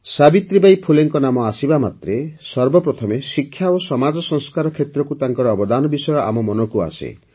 ସାବିତ୍ରୀବାଈ ଫୁଲେଙ୍କ ନାମ ଆସିବାମାତ୍ରେ ସର୍ବପ୍ରଥମେ ଶିକ୍ଷା ଓ ସମାଜ ସଂସ୍କାର କ୍ଷେତ୍ରକୁ ତାଙ୍କର ଅବଦାନ ବିଷୟ ଆମ ମନକୁ ଆସେ